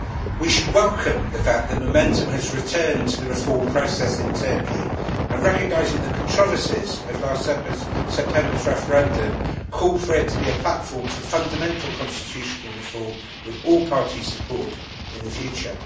We should welcome the fact that momentum has returned to the reform process in Turkey and, recognising the controversies of last September's referendum, call for it to be a platform for fundamental constitutional reform with all party support in the future.